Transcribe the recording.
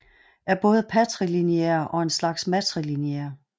Er både patrilineær og en slags matrilineær